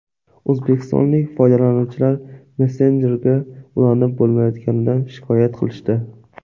O‘zbekistonlik foydalanuvchilar messenjerga ulanib bo‘lmayotganidan shikoyat qilishdi .